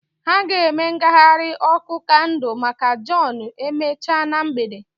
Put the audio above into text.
Ha ga-eme ngagharị ọkụ kandụl maka john emechaa na mgbede.